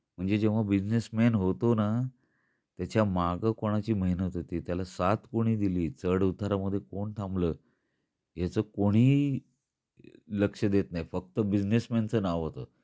म्हणजे जेव्हा businessman होतो ना त्याच माग कोणची मेहनत होती, त्याला साथ कोणी दिल्ली, चढ उतारा मध्ये कोण थांबल, याच कोणीही लक्ष देत नाही. फक्त बिझनेस मॅनच नाव होत.